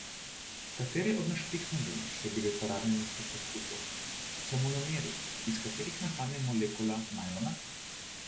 Katere od naštetih snovi, ki so bile uporabljene pri poskusu, so monomeri, iz katerih nastane molekula najlona?